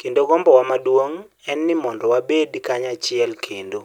kendo gombowa maduong' en ni mondo wabed kanyachiel kendo".